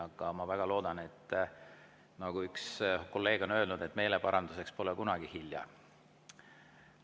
Aga ma väga loodan, nagu üks kolleeg on öelnud, et meeleparanduseks pole kunagi hilja.